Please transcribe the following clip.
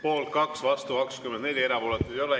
Poolt 2, vastu 24, erapooletuid ei ole.